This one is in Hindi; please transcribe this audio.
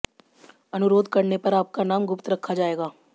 अनुरोध करने पर आपका नाम गुप्त रखा जाएगा